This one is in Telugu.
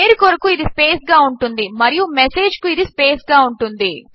పేరు కొరకు ఇది స్పేస్ గా ఉంటుంది మరియు మెసేజ్ కు ఇది స్పేస్ గా ఉంటుంది